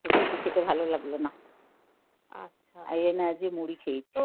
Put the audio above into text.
রুটি খেতে ভালো লাগলো না. আচ্ছা এজন্যে আজ মুড়ি খেয়েছি